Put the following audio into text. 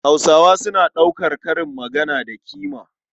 Hausawa suna ɗaukar karin magana da ƙima.